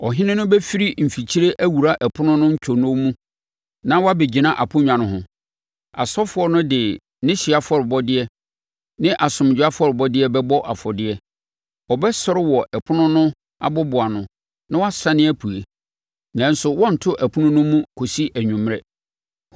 Ɔhene no bɛfiri mfikyire awura ɛpono no ntwonoo mu na wabɛgyina aponnwa no ho. Asɔfoɔ no de ne hyeɛ afɔrebɔdeɛ ne asomdwoeɛ afɔrebɔdeɛ bɛbɔ afɔdeɛ. Ɔbɛsɔre wɔ ɛpono no aboboano na wasane apue, nanso wɔrento ɛpono no mu kɔsi anwummerɛ.